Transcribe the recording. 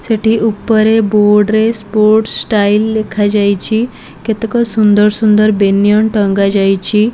ସେଠି ଉପରେ ବୋର୍ଡ ରେ ସ୍ପୋର୍ଟ ସ ଷ୍ଟାଇଲ ଲେଖାଯାଇଛି କେତେକ ସୁନ୍ଦର ସୁନ୍ଦର ବେନିଆନ ଟଙ୍ଗାଯାଇଛି।